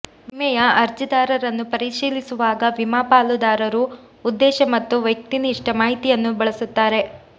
ವಿಮೆಯ ಅರ್ಜಿದಾರರನ್ನು ಪರಿಶೀಲಿಸುವಾಗ ವಿಮಾ ಪಾಲುದಾರರು ಉದ್ದೇಶ ಮತ್ತು ವ್ಯಕ್ತಿನಿಷ್ಠ ಮಾಹಿತಿಯನ್ನು ಬಳಸುತ್ತಾರೆ